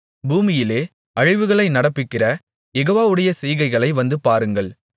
பூமியிலே அழிவுகளை நடப்பிக்கிற யெகோவாவுடைய செய்கைகளை வந்துபாருங்கள்